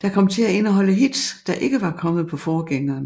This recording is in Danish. Der kom til at indeholde hits der ikke var kommet på forgængeren